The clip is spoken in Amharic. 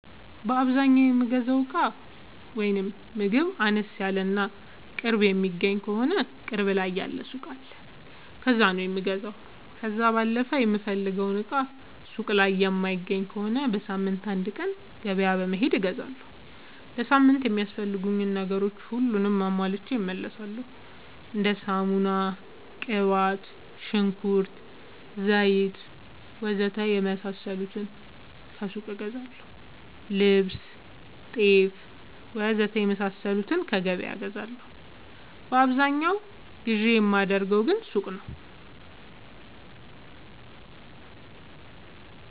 በአዛኛው የምገዛው እቃ ወይም ምግብ አነስ ያለ እና ቅርብ የሚገኝ ከሆነ ቅርብ ያለ ሱቅ አለ ከዛ ነው የምገዛው። ከዛ ባለፈ የምፈልገውን እቃ ሱቅ ላይ የማይገኝ ከሆነ በሳምንት አንድ ቀን ገበያ በመሄድ እገዛለሁ። ለሳምንት የሚያስፈልጉኝ ነገሮች ሁሉንም አሟልቼ እመለሣለሁ። እንደ ሳሙና፣ ቅባት፣ ሽንኩርት፣ ዘይት,,,,,,,,, ወዘተ የመሣሠሉትን ከሱቅ እገዛለሁ። ልብስ፣ ጤፍ,,,,,,,,, ወዘተ የመሣሠሉትን ከገበያ እገዛለሁ። በአብዛኛው ግዢ የማደርገው ሱቅ ነው።